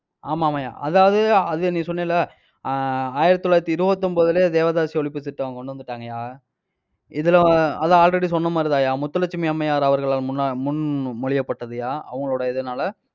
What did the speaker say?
ஆமா ஆமாய்யா அதாவது, அது நீ சொன்னல்ல? ஆஹ் ஆயிரத்தி தொள்ளாயிரத்தி இருபத்தி ஒன்பதுலயே தேவதாசி ஒழிப்பு திட்டம் கொண்டு வந்துட்டாங்கயா. இதுல அதான் already சொன்ன மாதிரிதாய்யா. முத்துலட்சுமி அம்மையார் அவர்கள் முன்~ முன்மொழியப்பட்டதுய்யா அவங்களுடைய இதுனால